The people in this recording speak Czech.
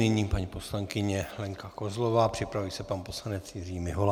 Nyní paní poslankyně Lenka Kozlová, připraví se pan poslanec Jiří Mihola.